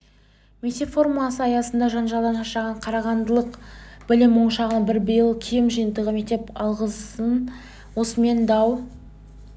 мектеп формасы аясындағы жанжалдан шаршаған қарағандылық білім ошағының бірі биыл киім жиынтығын мектепке алғызған осымен дау